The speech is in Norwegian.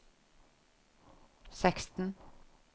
seksten